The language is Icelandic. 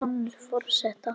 Sonur forseta